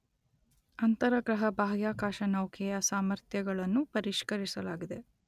ಅಂತರಗ್ರಹ ಬಾಹ್ಯಾಕಾಶನೌಕೆಯ ಸಾಮರ್ಥ್ಯಗಳನ್ನು ಪರಿಷ್ಕರಿಸಲಾಗಿದೆ.